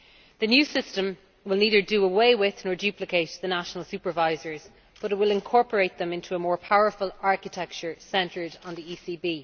The new system will neither do away with nor duplicate the national supervisors, but it will incorporate them into a more powerful architecture centred on the ECB.